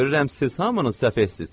Görürəm siz hamınız səfehsiz.